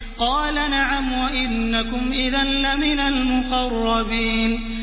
قَالَ نَعَمْ وَإِنَّكُمْ إِذًا لَّمِنَ الْمُقَرَّبِينَ